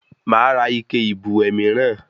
Máa ra ike ìbùwẹ̀ mìíràn